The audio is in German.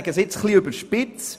Ich sage es etwas überspitzt: